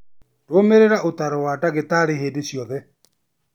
Rũmĩrĩra ũtaaro wa ndagĩtarĩ hĩndĩ ciothe.